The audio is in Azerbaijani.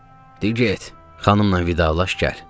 Deyir: "Get, xanımla vidalaş gəl."